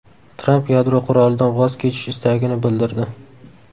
Tramp yadro qurolidan voz kechish istagini bildirdi.